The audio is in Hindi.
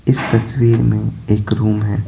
इस तस्वीर में एक रूम है।